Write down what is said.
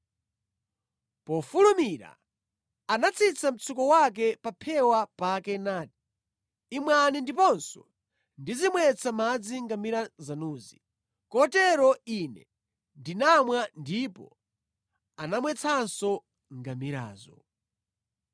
“Mofulumira, anatsitsa mtsuko wake pa phewa pake nati, ‘Imwani ndiponso ndizimwetsa madzi ngamira zanuzi.’ Kotero ine ndinamwa ndipo anamwetsanso ngamirazo.